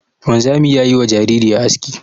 Wanzami ya yi wa jaririya aski.